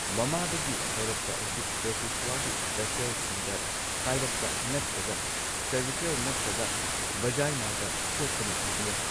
ꯃꯃꯥꯗꯒꯤ ꯍꯧꯔꯛꯄ ꯑꯁꯤ ꯗꯦꯁꯤꯁ꯭ꯋꯥꯒꯤ ꯚꯦꯁꯦꯜꯁꯤꯡꯗ ꯀꯥꯢꯔꯛꯄ ꯅꯠꯇ꯭ꯔꯒ ꯁꯔꯚꯤꯀꯦꯜ ꯅꯠꯇ꯭ꯔꯒ ꯚꯖꯥꯢꯅꯥꯗ ꯁꯣꯛꯄꯅ ꯑꯣꯢꯕ ꯌꯥꯏ꯫